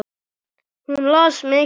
Hún las mikið.